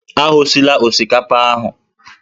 Aghọsila osikapa ahụ!